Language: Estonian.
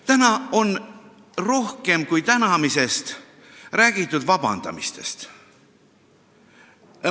Täna on räägitud tänamisest rohkem kui vabandamisest.